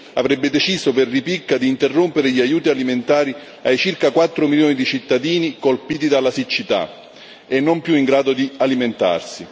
avrebbe deciso per ripicca di interrompere gli aiuti alimentari ai circa 4 milioni di cittadini colpiti dalla siccità e non più in grado di alimentarsi.